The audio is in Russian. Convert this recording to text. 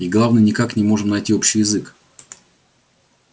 и главное никак не можем найти общий язык